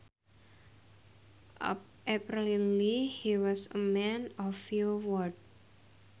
Apparently he was a man of few words